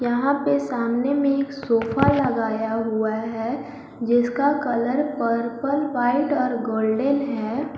यहां पे सामने में एक सोफा लगाया हुआ है जिसका कलर पर्पल वाइट और गोल्डन है।